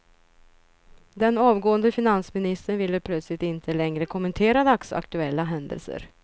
Den avgående finansministern ville plötsligt inte längre kommentera dagsaktuella händelser.